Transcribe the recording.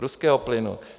Ruského plynu!